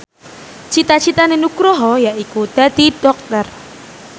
cita citane Nugroho yaiku dadi dokter